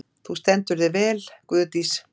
Þú stendur þig vel, Guðdís!